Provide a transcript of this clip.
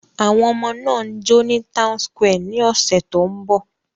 Àwọn ọmọ náà ń jó ní townsquare ní ọ̀sẹ̀ tó ń bọ̀.